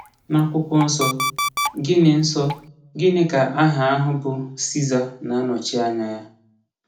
N'Akwụkwọ Nsọ, gịnị Nsọ, gịnị ka aha ahụ bụ Siza na-anọchi anya ya?